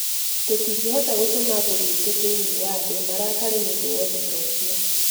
Tũtingĩhota gũtũma agũri aitũ thĩiniĩ wa thĩ marakare nĩ ũndũ wa ũndũ ta ũcio.